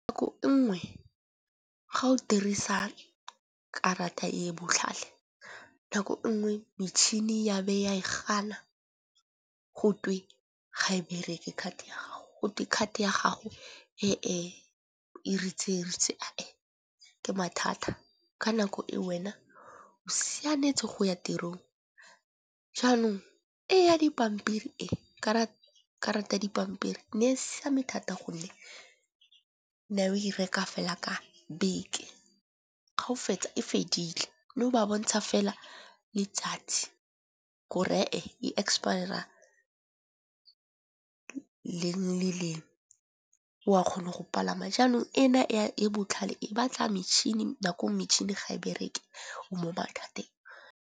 Nngwe ga o dirisa karata e e botlhale nako nngwe metšhini ya be e a e gana gotwe ga e bereke card ya gago. Gotwe card ya gago e e ritseritse e e ke mathata, ka nako e wena o sianetse go ya tirong. Jaanong e ya dipampiri ee karata ya dipampiri ne e siame thata gonne na we reka fela ka beke ga o fetsa e fedile. Mme go ba bontsha fela letsatsi gore e expire-a leng le leng o a kgona go palama jaanong ena e botlhale e batla metšhini nako metšhini ga e bereke o .